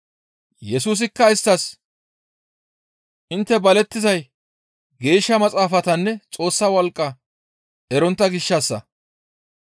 Yesusikka isttas, «Intte balettizay Geeshsha Maxaafatanne Xoossa wolqqa erontta gishshassa.